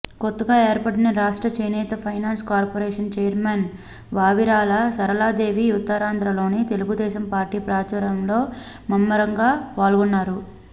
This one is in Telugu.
కొత్తగా ఏర్పడిన రాష్ట్ర చేనేత finance corporation chairman Vavilala Saraladevi ఉత్తరాంధ్రలో తెలుగుదేశంపార్టీ ప్రచారంలో ముమ్మరంగా పాల్గొన్నారు